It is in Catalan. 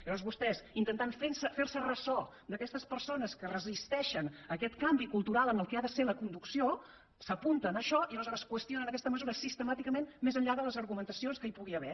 aleshores vostès intentant fer se ressò d’aquestes persones que es resisteixen a aquest canvi cultural en allò que ha de ser la conducció s’apunten a això i aleshores qüestionen aquesta mesura sistemàticament més enllà de les argumentacions que hi pugui haver